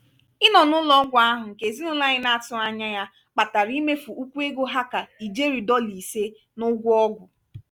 ịnọ n'ụlọ-ọgwụ ahụ nke ezinụlọ anyị na-atughị anya ya kpatara imefu ukwu ego ha kà ijeri dọla isé n'ugwọ ọgwụ.